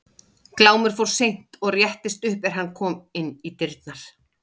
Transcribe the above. Glámur fór seint og réttist upp er hann kom inn í dyrnar.